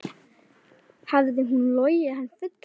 Hafði hún logið hann fullan?